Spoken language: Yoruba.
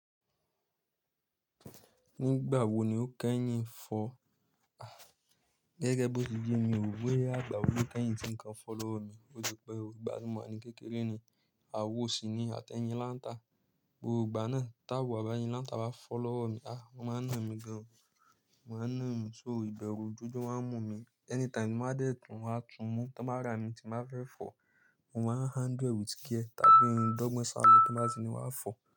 Nígbà wo ni ó kẹ́yìn fọ́? Gẹ́gẹ́ bó ti yẹ́ mi ò boya igbà wo ni o kẹ́yìn tí ń kan fo lowo mi. Ó ti pẹ́ o, ìgbà tí mo wa ní kékeré ni, awò ṣìní àti ẹyin Lanta. Gbogbo ìgbà náà táwò àbi ẹyin Lanta bá fo lowo mi, ah, wón máa ń na mí gan. Won a na ìmi sóo ìbẹ̀rù jòjò a mú mi. Anytime mo bá dé tún wá tún mú tí wọ́n bá ra mi tí mo ba fẹ́ fọ̀, mo máa handle e with care tàbí n dọ́gbọ́n salọ tí wọ́n bá ti ni n wá fọ̀